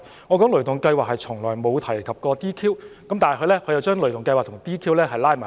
我在討論"雷動計劃"時從未提及 "DQ"， 但他卻將"雷動計劃"與 "DQ" 拉上關係。